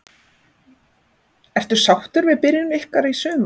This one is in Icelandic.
Ertu sáttur við byrjun ykkar í sumar?